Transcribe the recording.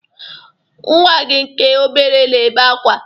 Nnwa gị nke obere na-ebe akwa.